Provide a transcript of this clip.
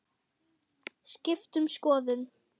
Skipt um skoðun.